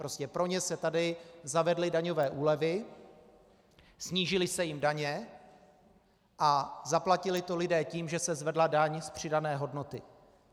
Prostě pro ně se tady zavedly daňové úlevy, snížily se jim daně a zaplatili to lidé tím, že se zvedla daň z přidané hodnoty.